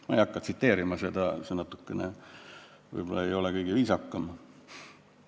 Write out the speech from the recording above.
Ma ei hakka tsiteerima, see võib-olla ei ole kõige viisakam.